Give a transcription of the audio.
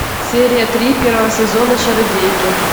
серия три первого сезона чародейки